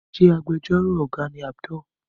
Ṣe Agbẹjọ́rò àgbà ni Abdul?